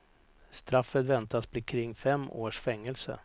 Straffet väntas bli kring fem års fängelse.